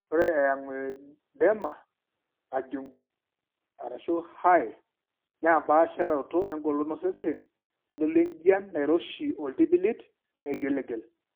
Ore eangioedema najung'i(HAE) naa empaasharoto engolon osesen naitodolu enjian nairoshi ooltipilit naigiligil.